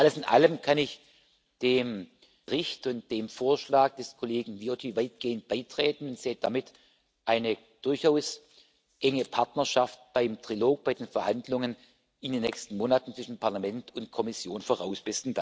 Alles in allem kann ich mich dem Bericht und dem Vorschlag des Kollegen Viotti weitgehend anschließen und sehe damit eine durchaus enge Partnerschaft beim Trilog, bei den Verhandlungen in den nächsten Monaten zwischen Parlament und Kommission voraus.